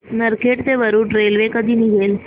नरखेड ते वरुड रेल्वे कधी निघेल